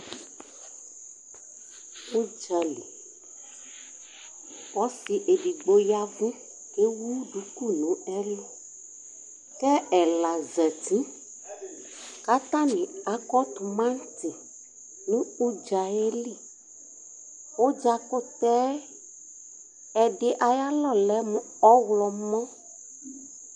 udzali ɔse edigbo yavu k'ewu duku n'ɛlu ko ɛla zati k'atani akɔ tomati no udzaɛli udza kutɛ ɛdi ayi alɔ lɛ mo ɔwlɔmɔ